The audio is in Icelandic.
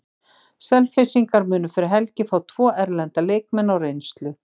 Selfyssingar munu fyrir helgi fá tvo erlenda leikmenn á reynslu.